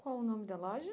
Qual o nome da loja?